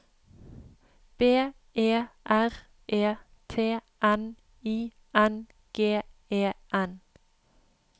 B E R E T N I N G E N